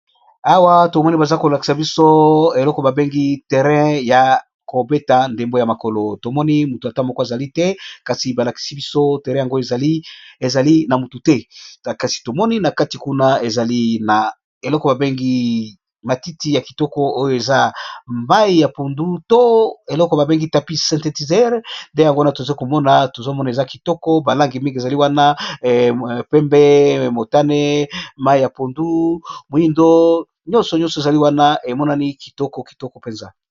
awa tomoni baza kolakisa biso eloko babengi terrein ya kobeta ndembo ya makolo tomoni motu ata moko ezali te kasi balakisi biso terrein yango ezali na motu te kasi tomoni na kati kuna ezali na eloko babengi matiti ya kitoko oyo eza mai ya pondu to eloko babengi tapis sintétisere nde yango wana toza komona tozomona eza kitoko balangi mike ezali wana pembe motane mai ya pondu moindo nyonso nyonso ezali wana emonani kitoko kitoko mpenza